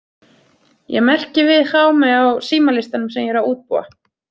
Ég merki við Jaume á símalistanum sem ég er að útbúa.